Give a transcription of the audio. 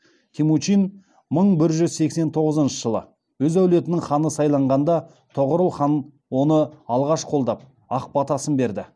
темучин мың бір жүз сексен тоғызыншы жылы өз әулетінің ханы сайланғанда тоғорыл хан оны алғаш қолдап ақ батасын берді